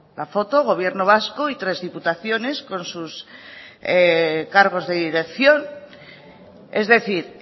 la foto gobierno vasco y tres diputaciones con sus cargos de dirección es decir